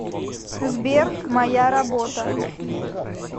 сбер моя работа